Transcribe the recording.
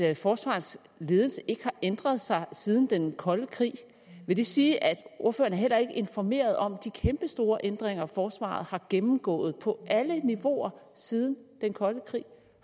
at forsvarets ledelse ikke har ændret sig siden den kolde krig vil det sige at ordføreren heller ikke er informeret om de kæmpestore ændringer forsvaret har gennemgået på alle niveauer siden den kolde krig